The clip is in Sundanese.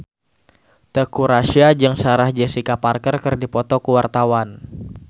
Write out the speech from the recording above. Teuku Rassya jeung Sarah Jessica Parker keur dipoto ku wartawan